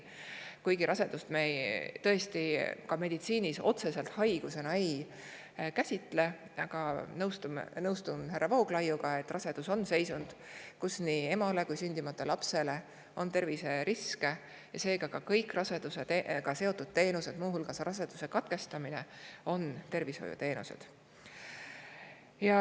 Kuigi rasedust me tõesti meditsiinis ei käsitle otseselt haigusena, nõustun ma härra, et rasedus on seisund, mis terviseriske nii emale kui ka veel sündimata lapsele, ja seetõttu on kõik rasedusega seotud teenused, sealhulgas raseduse katkestamine, tervishoiuteenused.